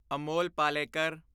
Amol Palekar